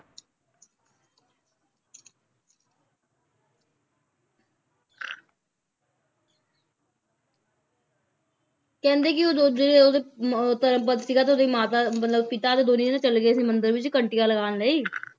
ਕਹਿੰਦੇ ਕਿ ਉਦੋਂ ਜਿਹੜੇ ਓਹਦੇ ਮ~ ਧਰਮਪਦ ਸੀਗਾ ਤੇ ਓਹਦੀ ਮਾਤਾ ਮਤਲਬ ਪਿਤਾ ਤੇ ਦੋਨੇਂ ਜਾਣੇ ਚਲੇ ਗਏ ਸੀ ਮੰਦਿਰ ਵਿੱਚ ਘੰਟੀਆਂ ਲਗਾਉਣ ਲਈ